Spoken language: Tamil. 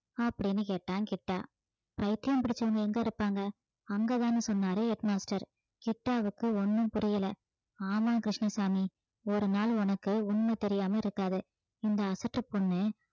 அப்படீன்னு கேட்டான் கிட்டா பைத்தியம் பிடிச்சவங்க எங்க இருப்பாங்க அங்கதானு சொன்னாரு head master கிட்டாவுக்கு ஒண்ணும் புரியல ஆமாம் கிருஷ்ணசாமி ஒரு நாள் உனக்கு உண்மை தெரியாம இருக்காது இந்த அசட்டு பொண்ணு